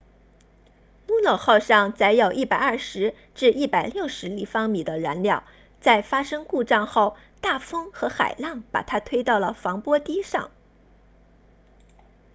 luno 号上载有 120-160 立方米的燃料在发生故障后大风和海浪把它推到了防波堤上